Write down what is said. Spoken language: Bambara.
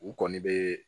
U kɔni bɛ